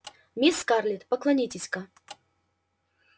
мисс скарлетт поклонитесь-ка